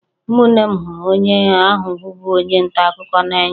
Ụmụnne m hụrụ onye ahụ bụbu onye nta akụkọ n'anya